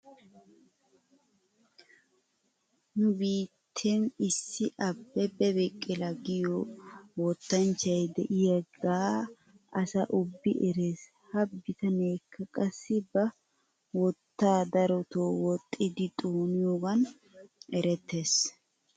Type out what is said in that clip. Nu biitten issi abebe biqila giyoo wottanchchay de'iyaagaa asai ubbi eres. He bitaneekka qassi ba wktta daroto wottidi xooniyoogan erettes.